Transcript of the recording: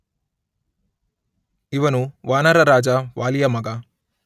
ಇವನು ವಾನರ ರಾಜ ವಾಲಿಯ ಮಗ.